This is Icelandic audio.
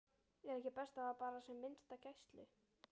Er ekki best að hafa bara sem minnsta gæslu?